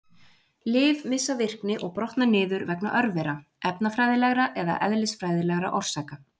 Lyf missa virkni og brotna niður vegna örvera, efnafræðilegra eða eðlisfræðilegra orsaka.